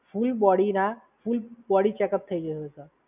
પૂરી બોડીના full checkup થઈ જશે સર.